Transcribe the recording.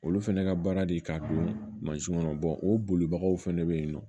Olu fɛnɛ ka baara de ye k'a don mansin kɔnɔ o bolibagaw fɛnɛ bɛ ye nɔ